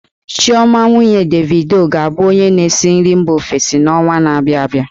Chioma, nwunye Davido, ga-abụ onye na-esi nri mba ofesi n'ọnwa na-abịa abịa.